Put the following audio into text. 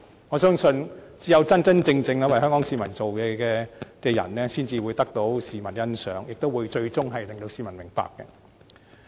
我相信只有真真正正為香港市民做事的人，才會得到市民欣賞，最終令市民明白。